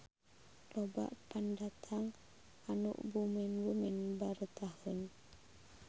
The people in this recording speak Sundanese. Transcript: Loba pendatang anu bumen-bumen baretaheun.